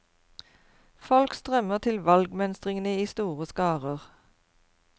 Folk strømmer til valgmønstringene i store skarer.